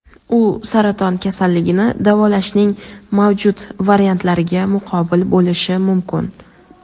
u saraton kasalligini davolashning mavjud variantlariga muqobil bo‘lishi mumkin.